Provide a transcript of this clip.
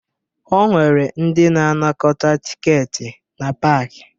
O nwere ndị na-anakọta tikeeti na paakị